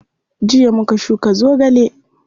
Jiya muka shuka zogale.